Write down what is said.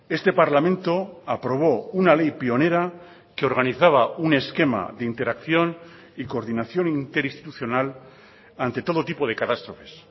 este parlamento aprobó una ley pionera que organizaba un esquema de interacción y coordinación interinstitucional ante todo tipo de catástrofes